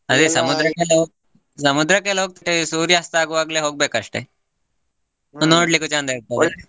ಸಮುದ್ರಕ್ಕೆಲ್ಲ ಹೋಗ್ತೆ ಸೂರ್ಯಾಸ್ತ ಆಗುವಾಗ್ಲೇ ಹೋಗಬೇಕ್ ಅಷ್ಟೇ ಚಂದ .